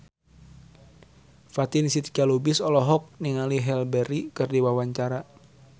Fatin Shidqia Lubis olohok ningali Halle Berry keur diwawancara